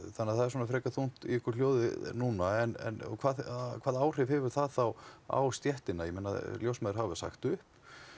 þannig að það er svona frekar þungt í ykkur hljóðið núna en og hvaða áhrif hefur það þá á stéttina ég meina ljósmæður hafa sagt upp